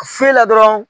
Foyi la dɔrɔn